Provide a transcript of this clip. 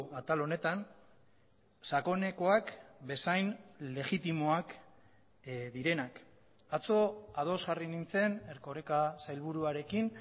atal honetan sakonekoak bezain legitimoak direnak atzo ados jarri nintzen erkoreka sailburuarekin